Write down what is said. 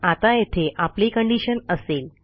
आता येथे आपली कंडिशन असेल